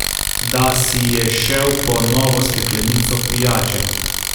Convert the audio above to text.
Da si je šel po novo steklenico pijače.